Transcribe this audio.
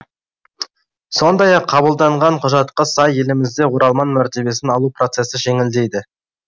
сондай ақ қабылданған құжатқа сай елімізде оралман мәртебесін алу процесі жеңілдейді